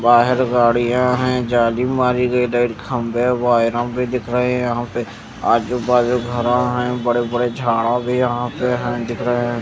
बाहर गाड़िया है जाली मारी गयी धर खंभे वायरा भी दिख रहे है यहाँं पे आजु बाजू घरा है बड़े बड़े झाड़ा भी है यहाँं पे दिख रहे है।